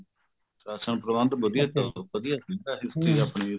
ration ਪ੍ਰਬੰਦ ਵਧੀਆ ਚਲਦਾ ਵਧੀਆ ਸੀ history ਆਪਣੀ